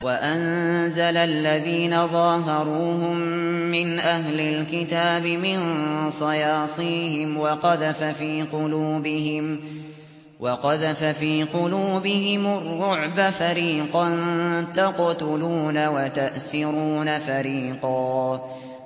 وَأَنزَلَ الَّذِينَ ظَاهَرُوهُم مِّنْ أَهْلِ الْكِتَابِ مِن صَيَاصِيهِمْ وَقَذَفَ فِي قُلُوبِهِمُ الرُّعْبَ فَرِيقًا تَقْتُلُونَ وَتَأْسِرُونَ فَرِيقًا